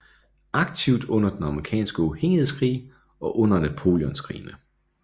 Aktivt under den amerikanske uafhængighedskrig og under Napoleonskrigene